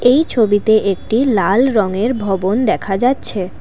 এই ছবিতে এট্টি লাল রঙের ভবন দেখা যাচ্ছে।